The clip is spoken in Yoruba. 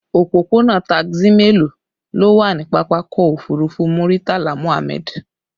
Òpópónà taxi mélòó ló wà ní pápákọ̀ òfurufú Muritala Muhammad?